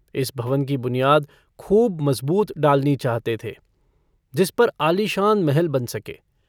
इस भवन की बुनियाद खूब मज़बूत डालनी चाहते थे जिस पर आलीशान महल बन सके।